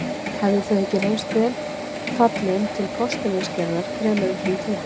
Hefðu þau ekki reynst vel fallin til postulínsgerðar fremur en hin fyrri.